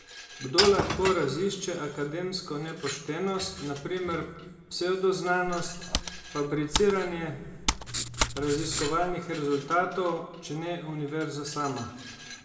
Kdo lahko razišče akademsko nepoštenost, na primer psevdoznanost, fabriciranje raziskovalnih rezultatov, če ne univerza sama?